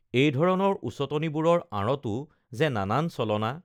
এইধৰণৰ উচতনিবোৰৰ আঁৰতো যে নানান চলনা